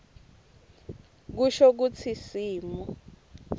kusho kutsi simo